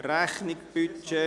Rechnung […];